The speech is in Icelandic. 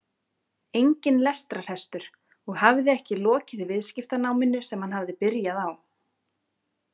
Enginn lestrarhestur og hafði ekki lokið viðskiptanáminu sem hann hafði byrjað á.